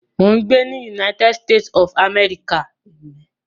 Mò ń gbé ní United States of America